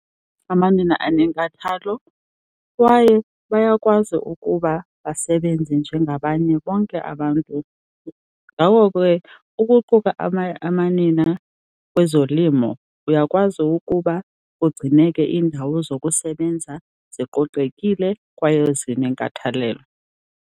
Amanina anenkathalo kwaye bayakwazi ukuba basebenze njengabanye bonke abantu. Ngako ke ukuquka amanina kwezolimo uyakwazi ukuba ugcineke iindawo zokusebenza ziqoqekile kwaye zinenkathalelo.